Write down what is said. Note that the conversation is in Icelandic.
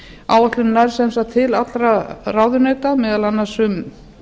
áætlun nær sem sagt til allra ráðuneyta meðal annars um